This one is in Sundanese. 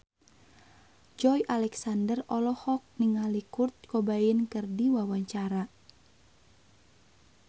Joey Alexander olohok ningali Kurt Cobain keur diwawancara